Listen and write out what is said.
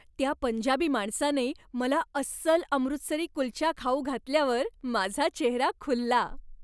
त्या पंजाबी माणसाने मला अस्सल अमृतसरी कुलचा खाऊ घातल्यावर माझा चेहरा खुलला.